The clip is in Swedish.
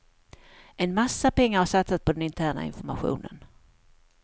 En massa pengar har satsats på den interna informationen.